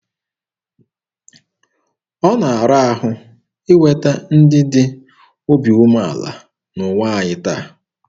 Ọ na-ara ahụ inweta ndị dị obi umeala n'ụwa anyị taa.